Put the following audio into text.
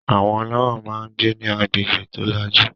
Àwọn olówó máà ń gbé ní agbègbè tó lajú